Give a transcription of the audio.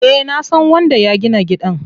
Eh nasan wanda ya gina gidan.